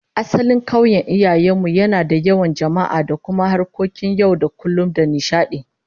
Asalin kauyen iyayen mu yana da yawan jama'a da kuma harkokin yau da kullum da nishadi